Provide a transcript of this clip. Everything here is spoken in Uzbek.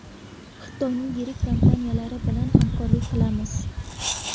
Xitoyning yirik kompaniyalari bilan hamkorlik qilamiz.